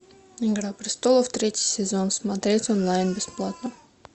игра престолов третий сезон смотреть онлайн бесплатно